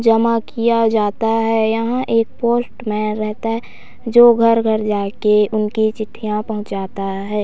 जमा किया जाता है यहाँ एक पोस्टमैन रहता है जो घर-घर जाके उनके चिट्ठियां पहुचाता है।